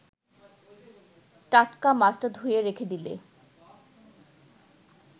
টাটকা মাছটা ধুয়ে রেখে দিলে